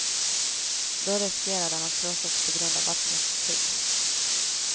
Då riskerar den att krossas på grund av vattnets tryck.